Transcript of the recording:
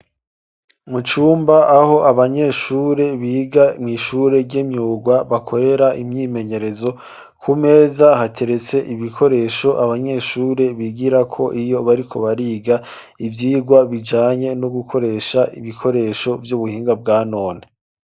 Mucumba aho abanyeshure biga mw'ishure ryemyurwa bakorera imyimenyerezo ku meza hateretse ibikoresho abanyeshure bigira ko iyo bari ko bariga ivyirwa bijanye no gukoresha ibikoresho vy'ubuhinga bwa none.